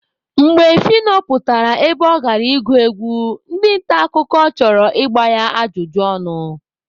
Mgbe Phyno pụtara ebe ọ gara ịgụ egwu, ndị nta akụkọ chọrọ igba ya ajụjụ ọnụ.